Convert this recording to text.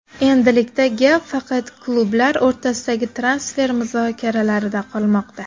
Endilikda gap faqat klublar o‘rtasidagi transfer muzokaralarida qolmoqda.